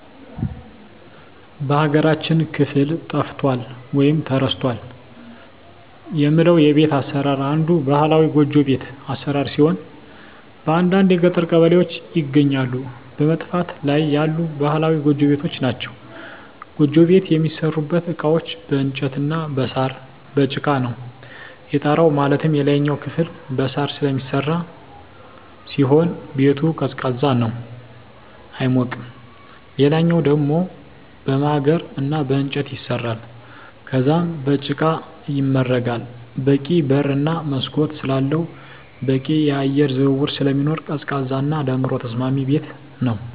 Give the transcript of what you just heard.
በሀገራችን ክፍል ጠፍቷል ወይም ተረስቷል የምለው የቤት አሰራር አንዱ ባህላዊ ጎጆ ቤት አሰራር ሲሆን በአንዳንድ የገጠር ቀበሌዎች ይገኛሉ በመጥፋት ላይ ያሉ ባህላዊ ጎጆ ቤቶች ናቸዉ። ጎጆ ቤት የሚሠሩበት እቃዎች በእንጨት እና በሳር፣ በጭቃ ነው። የጣራው ማለትም የላይኛው ክፍል በሳር ስለሚሰራ ሲሆን ቤቱ ቀዝቃዛ ነው አይሞቅም ሌላኛው ደሞ በማገር እና በእንጨት ይሰራል ከዛም በጭቃ ይመረጋል በቂ በር እና መስኮት ስላለው በቂ የአየር ዝውውር ስለሚኖር ቀዝቃዛ እና ለኑሮ ተስማሚ ቤት ነው።